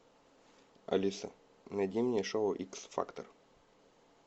алиса найди мне шоу икс фактор